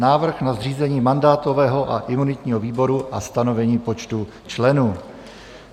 Návrh na zřízení mandátového a imunitního výboru a stanovení počtu členů